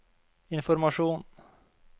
informasjon